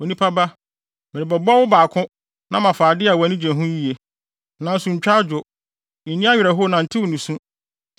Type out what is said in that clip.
“Onipa ba, merebɛbɔ wo baako na mafa ade a wʼani gye ho yiye. Nanso ntwa adwo, nni awerɛhow na ntew nusu.